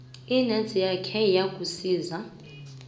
inac yakhe yakusiza